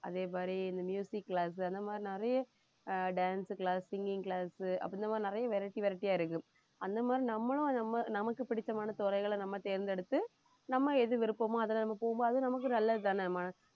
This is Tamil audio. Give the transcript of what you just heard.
அதே மாதிரி இந்த class அந்த மாதிரி நிறைய ஆஹ் dance class உ singing class உ அப்படி இந்த மாதிரி நிறைய variety variety ஆ இருக்கு அந்த மாதிரி நம்மளும் நமக்கு பிடிச்சமான துறைகளை நம்ம தேர்ந்தெடுத்து நம்ம எது விருப்பமோ அதுல நம்ம போவோமோ அது நமக்கு நல்லதுதானேம்மா